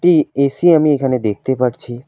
AC আমি এখানে দেখতে পারছি।